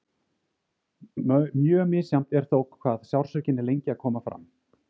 Mjög misjafnt er þó hvað sársaukinn er lengi að koma fram.